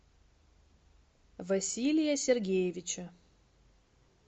василия сергеевича